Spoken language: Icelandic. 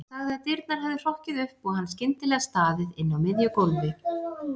Hann sagði að dyrnar hefðu hrokkið upp og hann skyndilega staðið inni á miðju gólfi.